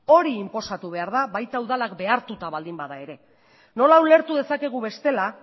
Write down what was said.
hori inposatu behar da baita udalak behartuta baldin bada ere nola ulertu dezakegu bestela